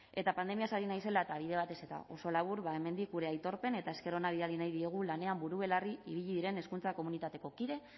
eta pandemiaz ari naizela eta bide batez eta oso labur ba hemendik gure aitorpen eta esker ona adierazi nahi diegu lanean buru belarri ibili diren hezkuntza komunitateko kide